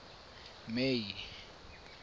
may